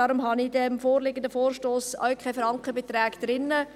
Deshalb habe ich im vorliegenden Vorstoss auch keine Frankenbeträge drin.